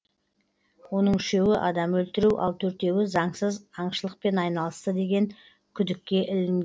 оның үшеуі адам өлтіру ал төртеуі заңсыз аңшылықпен айналысты деген күдікке ілінген